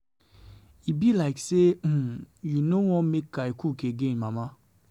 E be like say um you no want make I cook again mama